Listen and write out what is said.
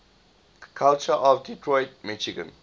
culture of detroit michigan